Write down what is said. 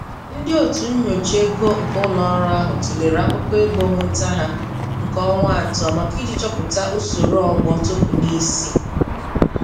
Ndị otu nyocha ego nke ụlọ ọrụ ahụ tụlere akụkọ ego nweta ha nke ọnwa atọ maka iji chọpụta usoro ọgbọ token isi.